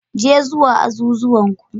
Je zuwa azuzuwan ku.